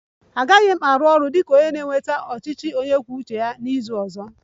Agaghị m arụ ọrụ dị ka onye na-eweta nzukọ ọchịchị onye kwuo uche ya n'izu ọzọ